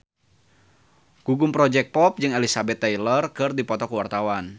Gugum Project Pop jeung Elizabeth Taylor keur dipoto ku wartawan